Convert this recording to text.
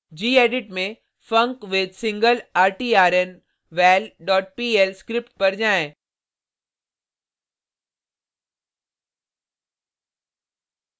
gedit में funcwithsinglertrnval dot pl script पर जाएँ